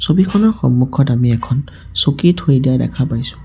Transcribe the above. ছবিখনৰ সন্মুখত আমি এখন চকী থৈ দিয়া দেখা পাইছোঁ।